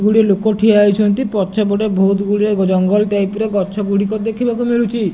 ଗୁଡେ ଲୋକ ଠିଆ ହୋଇଛନ୍ତି ପଛ ପଟେ ବୋହୁତ ଗୁଡ଼ିଏ ଜଙ୍ଗଲ ଟାଇପ ର ଗଛ ଗୁଡ଼ିକ ଦେଖିବାକୁ ମିଳୁଛି।